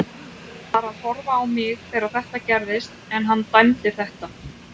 Hann var að horfa á mig þegar þetta gerðist en hann dæmdi þetta.